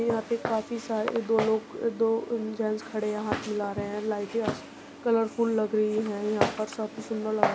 यहाँ पे काफी सारे दो लोग दो जैंट्स खड़े है हाथ मिला रहे है। लाइटें अ कलरफुल लग रही हैं यहाँ पर काफी सुंदर लग --